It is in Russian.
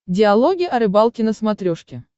диалоги о рыбалке на смотрешке